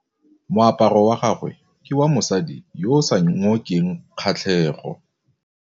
Moaparô wa gagwe ke wa mosadi yo o sa ngôkeng kgatlhegô.